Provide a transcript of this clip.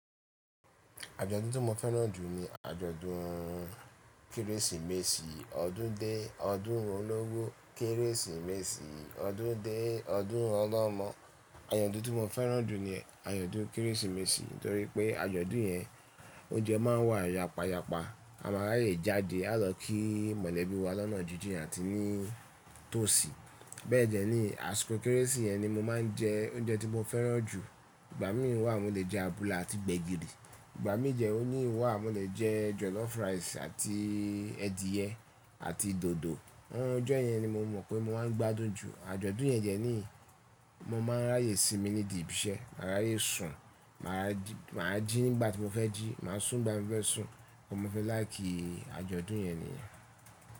Àjọ̀dún tí mo fẹ́ràn jù ní àjọ̀dún Kérésìmesì. Ọdún dé, ọdún rún ológun, Kérésìmesì. Ọdún dé, ọdún ọlọ́mọ. Àyàdùn tí mo fẹ́ràn jù ni àyàdùn Kérésìmesì torí pé àjọ̀dún yẹn, oúnjẹ máa ń wà yapa yapa, a máa ráyè jáde, á lọ kí mọ̀lẹ́bí wa lọ́nà jíjìn àti ní tòsí. Bẹ́ẹ̀ jẹ ni askó Kérésì yẹn ni mo máa ń jẹ oúnjẹ tí mo fẹ́ràn jù. Ìgbà mìíràn wà mo lè jẹ abula àti gbẹ̀gìrì, ìgbà mí jẹ òní wà mo lè jẹ jọlọ́ọ̀fú ráìsì àti ẹdiyẹ àti dòdò. Ohun ojọ́ yẹn ni mo mọ̀ pé mo máa ń gbádùn jù. Àjọ̀dún yẹn jẹ́ ní mo máa ń ráyè sinmi nídìí ibi iṣẹ́, màá ràyè sùn, màá jí nígbà tí mo fẹ́ jí, màá sùn nígbà tí mo fẹ́ sùn. Mo fẹ́ láì kí àjọ̀dún yẹn nìyẹn.